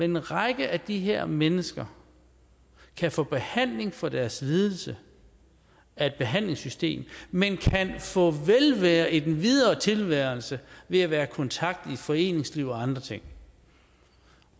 en række af de her mennesker kan få behandling for deres lidelse af et behandlingssystem men kan få velvære i den videre tilværelse ved at være i kontakt med foreningsliv og andre ting